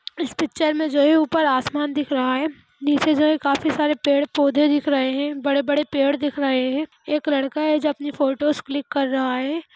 इस पिक्चर में जो है ऊपर आसमान दिख रहा है नीचे जो है काफी सारे पेड़-पौधे दिख रहे है बड़े-बड़े पेड़ दिख रहे है एक लड़का है जो अपनी फोटोज़ क्लिक कर रहा है।